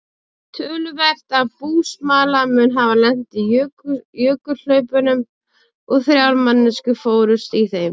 Töluvert af búsmala mun hafa lent í jökulhlaupunum og þrjár manneskjur fórust í þeim.